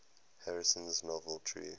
harrison's novel true